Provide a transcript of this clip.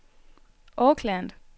Auckland